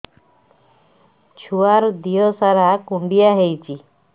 ଛୁଆର୍ ଦିହ ସାରା କୁଣ୍ଡିଆ ହେଇଚି